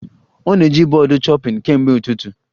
Ọ na-eji bọọdụ chopping kemgbe ụtụtụ